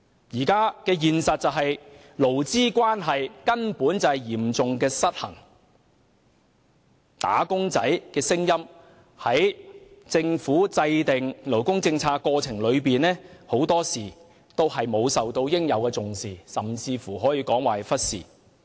目前的現實是勞資關係嚴重失衡，"打工仔"的聲音在政府制訂勞工政策的過程中，很多時都沒有受到應有的重視，甚至可以說是被忽視。